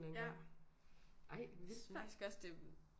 En anden gang ej vildt nok